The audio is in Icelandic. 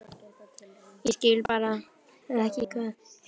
Ég skil bara ekki hvað er að gerast.